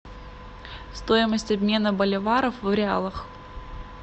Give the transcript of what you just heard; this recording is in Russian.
стоимость обмена боливаров в реалах